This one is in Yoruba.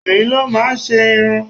Obìnrin ló máa ń ṣe irun.